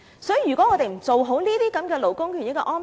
所以，如果我們不做好這些勞工權益的安排......